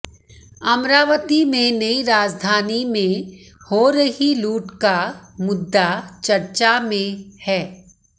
अमरावती में नई राजधानी में हो रही लूट का मुद्दा चर्चा में है